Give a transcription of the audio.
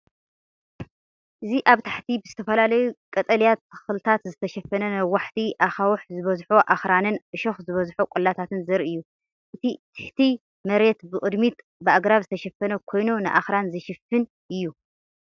እዚ ኣብ ታሕቲ ብዝተፈላለዩ ቀጠልያ ተኽልታት ዝተሸፈነ ነዋሕቲ ኣኻውሕ ዝበዝሖ ኣኽራንን እሾኽ ዝበዝሖ ቆላታትን ዘርኢ እዩ። እቲ ትሕቲ መሬት ብቕድሚት ብኣግራብ ዝተሸፈነ ኮይኑ፡ ንኣኽራን ዝሽፍን እዩ።